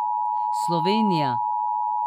Slovenija!